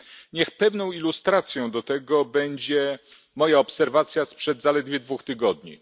Niech pewną ilustracją do tego będzie moja obserwacja sprzed zaledwie dwóch tygodni.